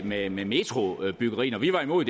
med med metrobyggeriet når vi var imod